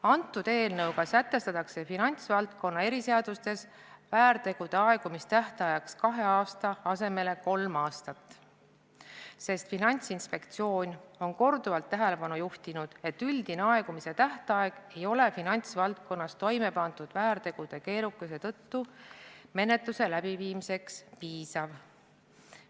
Antud eelnõuga sätestatakse finantsvaldkonna eriseadustes väärtegude aegumise tähtajaks kahe aasta asemel kolm aastat, sest Finantsinspektsioon on korduvalt tähelepanu juhtinud, et üldine aegumistähtaeg ei ole finantsvaldkonnas toimepandud väärtegude keerukuse tõttu menetluse läbiviimiseks piisav.